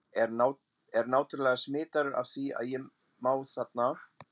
er náttúrlega smitaður af því ef ég má þarna